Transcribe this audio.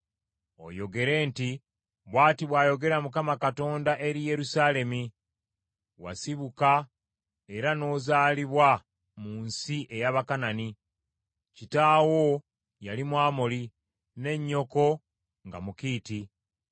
oyogere nti, ‘Bw’ati bw’ayogera Mukama Katonda eri Yerusaalemi: Wasibuka era n’ozaalibwa mu nsi ey’Abakanani; Kitaawo yali Mwamoli, ne nnyoko nga Mukiiti.